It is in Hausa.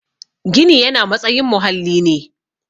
Gini yana matsayin muhalli ne